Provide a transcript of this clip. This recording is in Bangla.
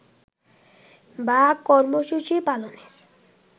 বা কর্মসূচি পালনের